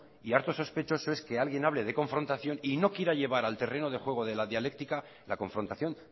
y harto sospechoso es que alguien hable de confrontación y no quiera llevar al terreno de juego de la dialéctica la confrontación